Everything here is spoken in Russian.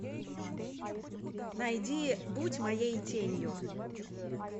найди будь моей тенью